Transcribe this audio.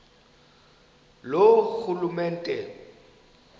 loorhulumente